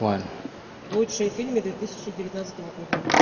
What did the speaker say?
лучшие фильмы две тысячи девятнадцатого года